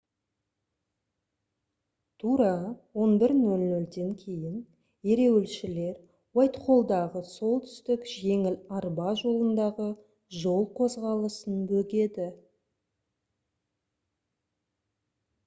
тура 11:00-ден кейін ереуілшілер уайтхоллдағы солтүстік жеңіл арба жолындағы жол қозғалысын бөгеді